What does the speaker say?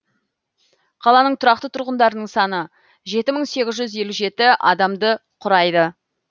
қаланың тұрақты тұрғындарының саны жеті мың сегіз жүз елу жеті адамды құрайды